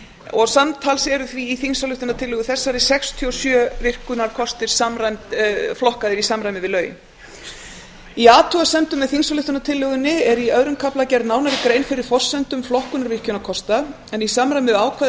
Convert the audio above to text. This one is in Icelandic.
og samtals eru því í þingsályktunartillögu þessari sextíu og sjö virkjunarkostir flokkaðir í samræmi við lögin í athugasemdum með þingsályktunartillögunni er í öðrum kafla gerð nánari grein fyrir forsendum flokkunar virkjunarkosta en í samræmi við ákvæði laga